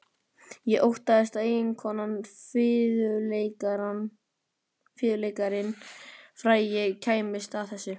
Og óttaðist að eiginkonan, fiðluleikarinn frægi, kæmist að þessu.